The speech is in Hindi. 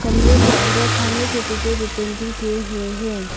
कमरे के अंदर खाने की चीजें भी पेंटिंग किए हुए हैं।